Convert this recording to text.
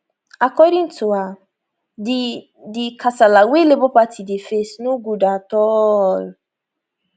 according to her di di kasala wey labour party dey face no good at all